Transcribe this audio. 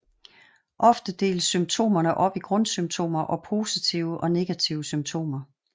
Ofte deles symptomerne op i grundsymptomer og positive og negative symptomer